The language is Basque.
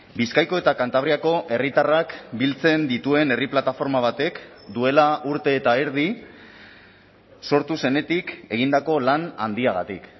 bizkaiko eta kantabriako herritarrak biltzen dituen herri plataforma batek duela urte eta erdi sortu zenetik egindako lan handiagatik